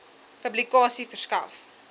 publikasie verskaf